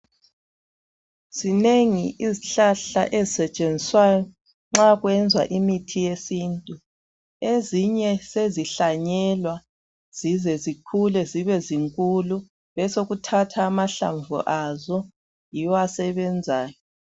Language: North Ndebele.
Zinengi izihlahla ezisetshenziswayo nxa kwenzwa imithi yesintu. Ezinye sezihlanyelwa zize zikhule zibe zinkulu, besekuthathwa amahlamvu azo yiwo asebenzayo.